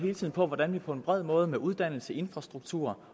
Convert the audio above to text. på hvordan man på en bred måde med uddannelse infrastruktur